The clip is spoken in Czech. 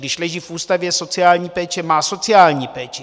Když leží v ústavu sociální péče, má sociální péči.